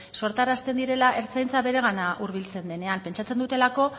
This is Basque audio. sortarazten direla ertzaintza beregana hurbiltzen denean pentsatzen dutelako